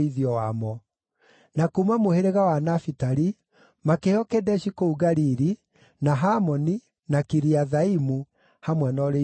Na kuuma mũhĩrĩga wa Nafitali makĩheo Kedeshi kũu Galili, na Hamoni, na Kiriathaimu, hamwe na ũrĩithio wamo.